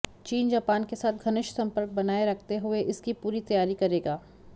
चीन जापान के साथ घनिष्ठ संपर्क बनाए रखते हुए इसकी पूरी तैयारी करेगा